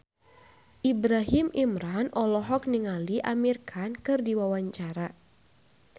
Ibrahim Imran olohok ningali Amir Khan keur diwawancara